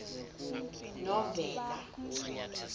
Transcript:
novena